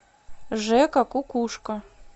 жека кукушка